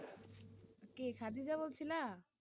কি কাজে যাওয়া হইছিলা?